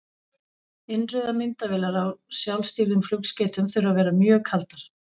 Innrauðar myndavélar á sjálfstýrðum flugskeytum þurfa að vera mjög kaldar.